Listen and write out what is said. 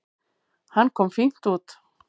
Hann kom fínt út.